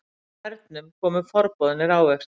Með hernum komu forboðnir ávextir.